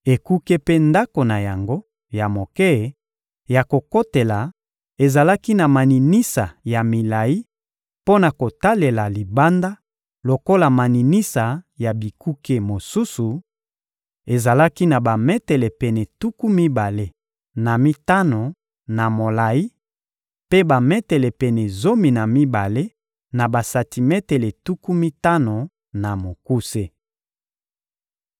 Ekuke mpe ndako na yango ya moke ya kokotela ezalaki na maninisa ya milayi mpo na kotalela libanda lokola maninisa ya bikuke mosusu: ezalaki na bametele pene tuku mibale na mitano na molayi mpe bametele pene zomi na mibale na basantimetele tuku mitano na mokuse.